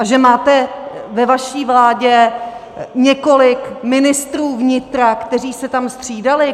A že máte ve své vládě několik ministrů vnitra, kteří se tam střídali?